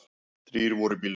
Þrír voru í bílnum.